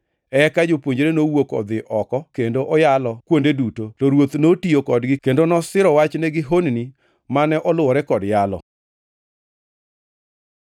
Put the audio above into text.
Eka jopuonjre nowuok odhi oko kendo oyalo kuonde duto, to Ruoth notiyo kodgi kendo nosiro wachne gi honni mane oluwore kod yalo.] + 16:20 Loko moko machon mag Muma kata joneno moko machon ne ok ondiko \+xt Mar 16:9-20\+xt*.